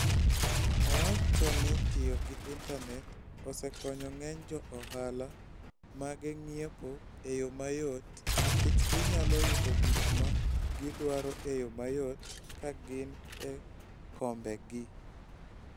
Owacho ni tiyo gi intanet osekonyo ng'eny jo ohala mage ng'iepo e yo mayot nikech ginyalo yudo gik ma gidwaro e yo mayot ka gin e kombegi.